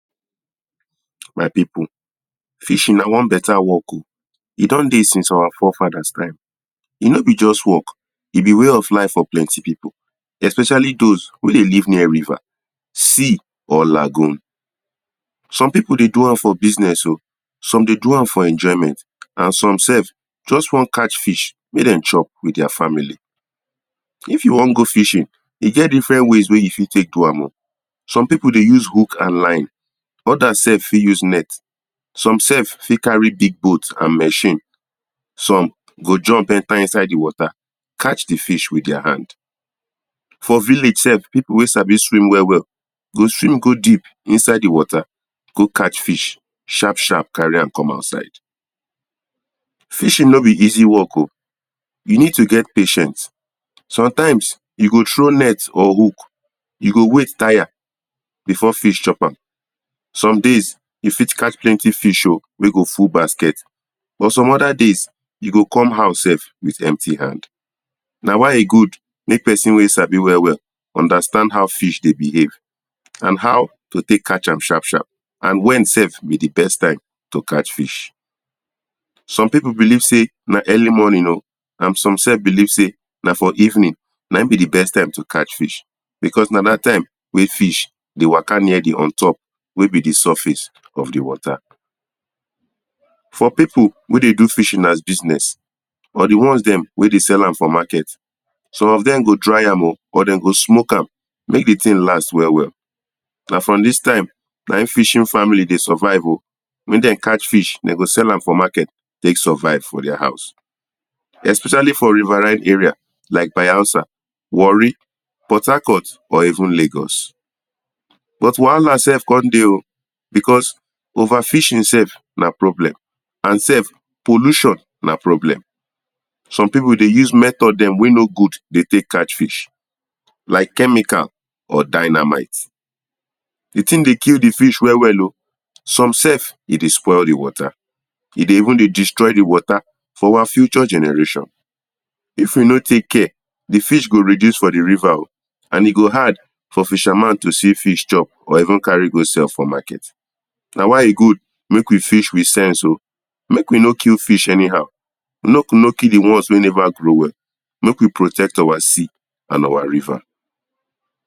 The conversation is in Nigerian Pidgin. my people fishing na one better work o e don dey since our four fathers time e no be just work e be way of life for plenty people especially those wey dey live near river sea or lagoon some people dey do am for business o some dey do am for enjoyment and some sef just wan catch fish make dem chop with their family if you wan go fishing e get different ways wey you fit take do am o some people dey use hook and line others sef fit use net some sef fit carry big boat and machine some go jump enter inside the water catch the fish with their hand for village sef people wey sabi swim well well go swim go deep inside the water go catch fish sharp sharp carry am come outside fishing o be easy work o you need to get patience sometimes you go throw net or hook you go wait tire before fish chop am somedays e fit catch plenty fish o wey go full basket but some other days you go come house sef with empty hand na why e good make person wey sabi well well understannd how fish dey behave and how to take catch am sharp sharp and when sef be the best time to catch fish some people believe sey na early morning o and some sef believe sey na for evening na him be the best time to catch fish because na that time wey fish dey waka near the on top wey be the surface of the water for people wey dey do fishing as business or the ones dem wey dey sell am for market some of them go dry am o buh dem go smoke am make the ting last well well na from this time na him fishing family dey survive o make dem catch fish dem go sell am for market take survive for their house especially for riverine area like bayelsa warri port hacort or even lagos but wahala sef come dey o because over fishing sef na problem and sef pollution na problem some people dey use method dem wey no good dey take catch fish like chemical or dynamite the thing dey kill the fish well well o some sef e dey spoil the water e dey even dey destroy the water for our future generation if you no take care the fish go reduce for the river o and e go hard for fisherman to see fish chop or even carry go sell for market na why e good make we fish with sense o make we no kill fish anyhow make we no kill the ones wey never grow well make we protect our sea and our river